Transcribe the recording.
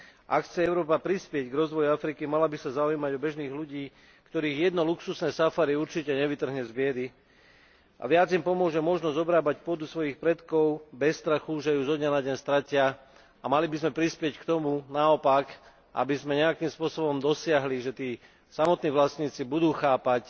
Ak chce Európa prispieť k rozvoju Afriky, mala by sa zaujímať o bežných ľudí, ktorých jedno luxusné safari určite nevytrhne z biedy a viac im pomôže možnosť obrábať pôdu svojich predkov bez strachu, že ju zo dňa na deň stratia, a mali by sme prispieť k tomu, naopak, aby sme nejakým spôsobom dosiahli, že tí samotní vlastníci budú chápať,